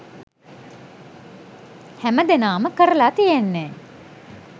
හැම දෙනාම කරලා තියෙන්නේ